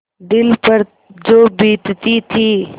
दिल पर जो बीतती थी